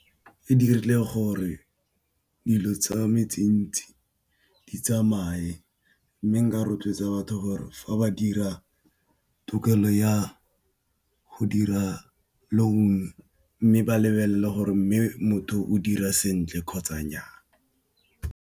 E dirile gore dilo tsa me tse ntsi di tsamaye. Mme nka rotloetsa batho gore fa ba dira tokelo ya go dira loan, mme ba lebelele gore mme motho o dira sentle kgotsa nnya.